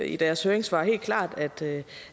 i deres høringssvar helt klart at det